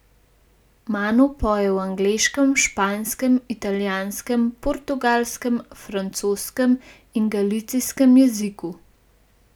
Manu poje v angleškem, španskem, italijanskem, portugalskem, francoskem in galicijskem jeziku.